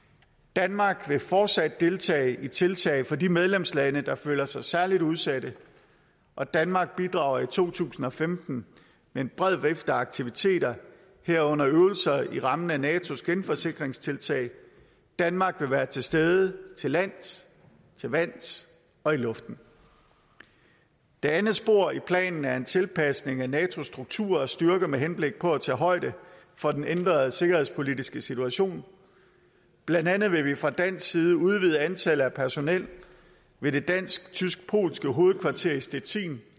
danmark vil fortsat deltage i tiltag for de medlemslande der føler sig særlig udsatte og danmark bidrager i to tusind og femten med en bred vifte af aktiviteter herunder øvelser i rammen af natos genforsikringstiltag danmark vil være til stede til vands til vands og i luften det andet spor i planen er en tilpasning af natos struktur og styrker med henblik på at tage højde for den ændrede sikkerhedspolitiske situation blandt andet vil vi fra dansk side udvide antallet af personel ved det dansk tysk polske hovedkvarter i stettin